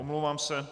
Omlouvám se.